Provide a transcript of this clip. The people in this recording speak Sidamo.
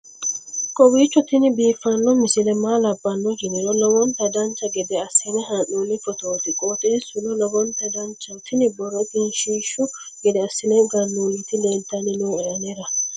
kowiicho tini biiffanno misile maa labbanno yiniro lowonta dancha gede assine haa'noonni foototi qoxeessuno lowonta danachaho. tini borro egenshshiishu gede assine gannoonniti leeltanni nooe anera